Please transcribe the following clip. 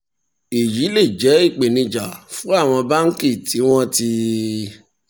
èyí lè jẹ́ ìpèníjà fún àwọn báńkì tí wọ́n ti